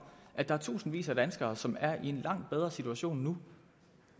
at der er tusindvis af danskere som er i en langt bedre situation nu